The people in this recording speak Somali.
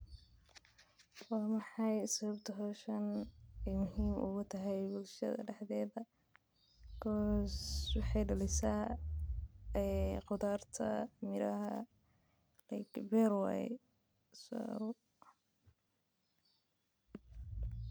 Waaa maxay sawabta hoshan muhiim ee igu tahay bulshaada horta maxaa waye qudhar.